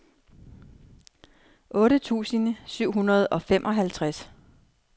otte tusind syv hundrede og femoghalvtreds